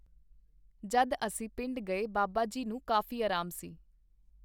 ਜਦ ਅਸੀਂ ਪਿੰਡ ਗਏ ਬਾਬਾ ਜੀ ਨੂੰ ਕਾਫ਼ੀ ਆਰਾਮ ਸੀ.